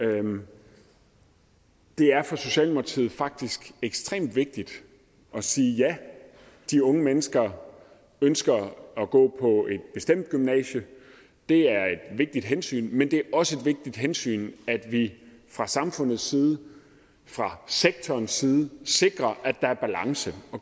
det er for socialdemokratiet faktisk ekstremt vigtigt at sige ja de unge mennesker ønsker at gå på et bestemt gymnasium det er et vigtigt hensyn men det er også et vigtigt hensyn at vi fra samfundets side fra sektorens side sikrer at der er balance